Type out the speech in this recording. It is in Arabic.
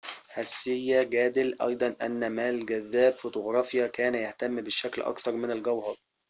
هسيه جادل أيضاً أن ما الجذاب فوتوغرافياً كان يهتم بالشكل أكثر من الجوهر